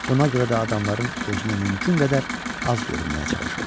Buna görə də adamların gözünə mümkün qədər az görünməyə çalışırdı.